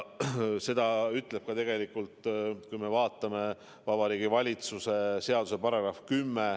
Seda ütleb tegelikult, kui me vaatame, ka Vabariigi Valitsuse seaduse § 10.